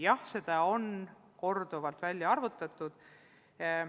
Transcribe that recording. Jah, neid on korduvalt välja arvutatud.